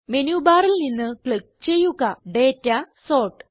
menu ബാറിൽ നിന്ന് click ചെയ്യുക ഡാറ്റ സോർട്ട്